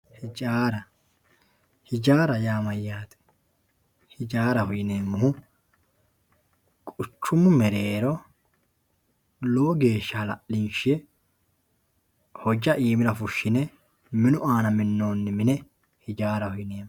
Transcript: ijaara ijaara yaa mayaate ijaaraho yineemohu quchumu mereero lowo geesha hala'linshe hojja iimira fushshine minu aana minnonni mine ijaaraho yineemo.